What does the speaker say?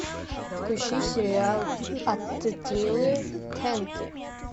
включи сериал аттилы тенки